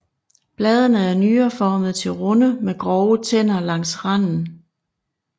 Bladene er nyreformede til runde med grove tænder langs randen